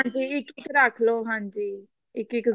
ਹਾਂਜੀ ਇੱਕ ਇੱਕ ਰੱਖ ਲਓ ਹਾਂਜੀ ਇੱਕ ਇੱਕ